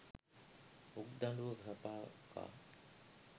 උක්දඩුව සපා කා